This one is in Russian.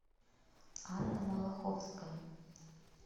анна малаховская